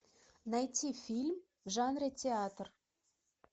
найти фильм в жанре театр